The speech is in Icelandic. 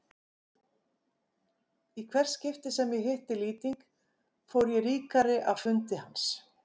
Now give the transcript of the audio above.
Í hvert skipti sem ég hitti Lýting fór ég ríkari af fundi hans.